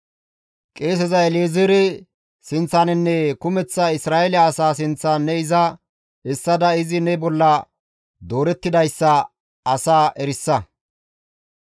Qeeseza El7ezeere sinththaninne kumeththa Isra7eele asaa sinththan ne iza essada izi ne olla doorettidayssa asaa erisa.